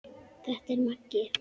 Þetta er Maggi!